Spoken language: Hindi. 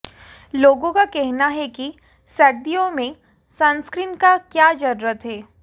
लोगों का कहना है कि सर्दियों में सनस्क्रीन का क्या जरुरत है